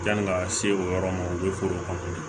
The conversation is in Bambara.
Yanni ka se o yɔrɔ ma u bɛ foro kɔfɛ